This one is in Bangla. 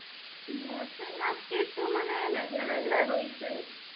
Hindi আজকে একটু মানে মেঘলা মেঘলা রইসে.